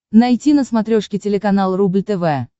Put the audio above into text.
найти на смотрешке телеканал рубль тв